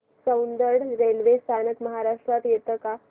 Soundad railway स्थानक महाराष्ट्रात येतं का